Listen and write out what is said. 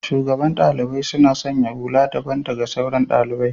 shugaban ɗaliɓai suna sanya hulla daɓan daga sauran ɗaliɓai.